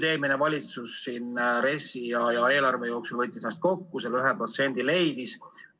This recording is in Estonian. Eelmine valitsus RES-i ja eelarve puhul võttis ennast kokku ja selle 1% leidis.